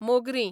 मोगरीं